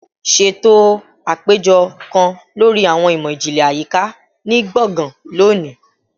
Ṣeto apejọ kan lori Awọn imọ-jinlẹ Ayika ni gbongan loni